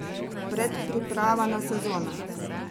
Predpriprava na sezono.